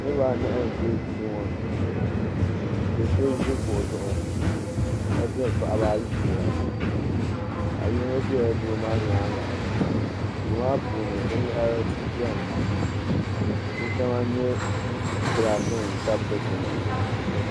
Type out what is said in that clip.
niraba anahi n bɛ duu ŋɔ ni do so ʒi kuɣu zuɣu ka diri paɣaba ayi fiila paɣa yino biɛla doo maa nyaanga duu maa puuni binyahari biɛni di shɛŋa n nyɛ gilaas nim tabi dikpuna